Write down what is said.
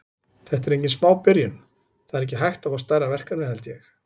Þetta er engin smá byrjun, það er ekki hægt að fá stærra verkefni held ég.